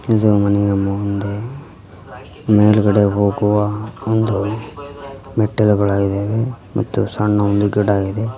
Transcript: ಇದು ಮನೆಯ ಮುಂದೆ ಮೇಲ್ಗಡೆ ಹೋಗುವ ಒಂದು ಮೆಟ್ಟಿಲುಗಳಗಿದಾವೆ ಮತ್ತು ಸಣ್ಣ ಒಂದು ಗಿಡ ಇದೆ.